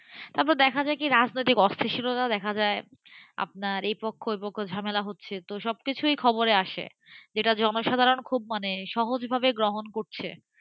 তারপর দেখা যায় কি রাস্তাতে অশ্লীলতা দেখা যায়আপনার এই পক্ষওই পক্ষ ঝামেলা করছে, তো সবকিছুই খবরে আসেযেটা জনসাধারণ খুব মানে সহজভাবে গ্রহণ করছে,